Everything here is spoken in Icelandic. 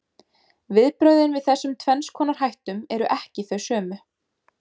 Viðbrögðin við þessum tvenns konar hættum eru ekki þau sömu.